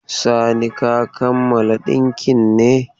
Sani ka kammala dinkin ne?